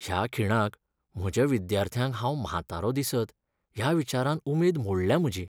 ह्या खिणाक, म्हज्या विद्यार्थ्यांक हांव म्हातारो दिसत ह्या विचारान उमेद मोडल्या म्हजी.